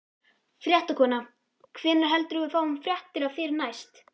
Fréttakona: Hvenær heldurðu að við fáum fréttir af þér næst?